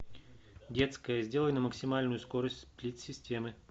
детская сделай на максимальную скорость сплит системы